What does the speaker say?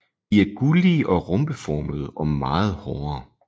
De er gullige og rombeformede og meget hårde